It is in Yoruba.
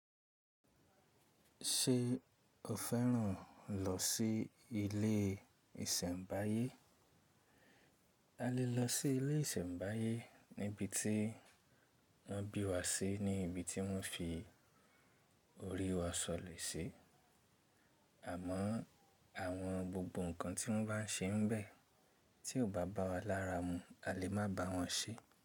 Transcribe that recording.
Ṣé o fẹ́ràn lọ sí ilé ìsẹ̀mbáyé? A lè lọ sí ilé ìsẹ̀mbáyé níbi tí wọ́n bí wa sí ní ibi tí wọ́n fi orí wa sọ̀lẹ̀ sí. Àmọ́o àwọn gbogbo nǹkan tí wọ́n bá n ṣe ń bẹ́, tí o bá bá wa lára mu, a lè má bá wọn ṣe.